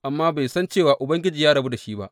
Amma bai san cewa Ubangiji ya rabu da shi ba.